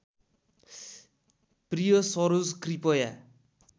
प्रिय सरोज कृपया